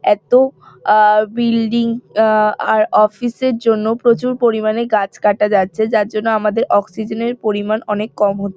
এত আহ বিল্ডিং আহ আর অফিস এর জন্য প্রচুর পরিমাণে গাছ কাটা যাচ্ছে যার জন্য আমাদের অক্সিজেন - এর পরিমাণ অনেক কম হ--